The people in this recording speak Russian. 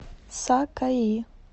сакаи